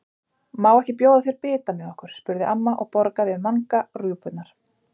Má ekki bjóða þér bita með okkur? spurði amma og borgaði Manga rjúpurnar.